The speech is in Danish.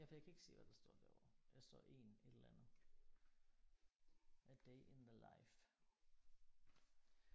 Ja for jeg kan ikke se hvad der står derovre. Der står en et eller andet a day in the life